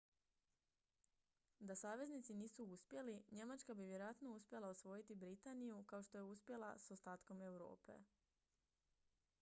da saveznici nisu uspjeli njemačka bi vjerojatno uspjela osvojiti britaniju kao što je uspjela s ostatkom europe